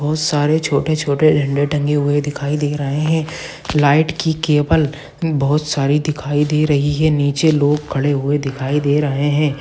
बहुत सारे छोटे-छोटे झंडे टंगे हुए दिखाई दे रहे हैं लाइट की केबल बहुत सारी दिखाई दे रही हैं नीचे लोग खड़े हुए दिखाई दे रहे हैं।